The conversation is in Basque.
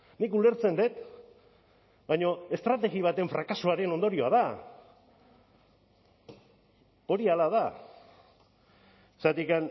nik ulertzen dut baina estrategia baten frakasoaren ondorioa da hori hala da zergatik